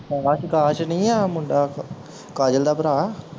ਅਕਾਸ਼ ਅਕਾਸ਼ ਨਹੀਂ ਆ ਮੁੰਡਾ ਕਾਜਲ ਦਾ ਭਰਾ